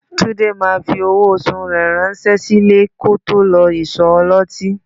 Túndé máa fi owó oṣù rẹ ránṣẹ́ sílé kí ó tó lọ ìsọ̀ ọlọ́tí